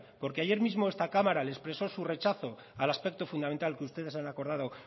porque ayer misma esta cámara expresó su rechazo al aspecto fundamental que ustedes han acordado